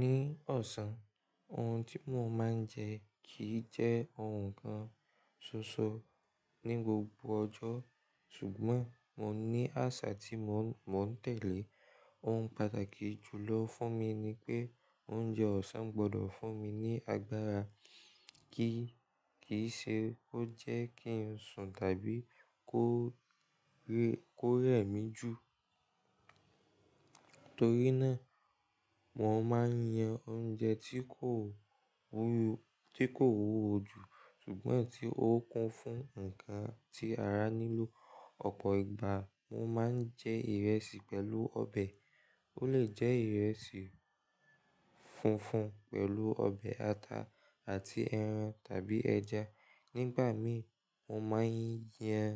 Ní ọ̀sán, ohun tí mo máa ń jẹ kìí jẹ́ ohun kan ṣoṣo ní gbogbo ọjọ́ ṣùgbọ́n mo ní àṣà tí mo ń tẹ̀lé. Ohun pàtàkì jùlọ fún mi ni pé oúnjẹ ọ̀sán gbọdọ̀ fún mi ní agbára kíì ṣe kó jẹ́ kí n sùn tàbí kó rẹ mí ju. Nítorí náà, mo máa ń yan oúnjẹ tí kò wu–tí kò wúwo ju ṣùgbọ́n tí ó kún fún ǹkan tí ara nílò. Ọ̀pọ̀ ìgbà mo máa ń jẹ ìrẹsì pẹ̀lú ọbẹ̀. Ó lè jẹ ìrẹsì funfun pẹ̀lu ọbẹ̀ ata àti ẹran tàbí ẹja. Nígbà mi mo máa ń yan